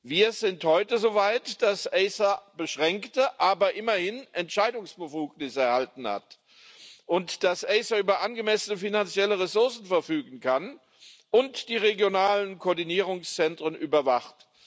Wir sind heute so weit, dass die ACER beschränkte, aber immerhin Entscheidungsbefugnis erhalten hat und dass die ACER über angemessene finanzielle Ressourcen verfügen kann und die regionalen Koordinierungszentren überwacht.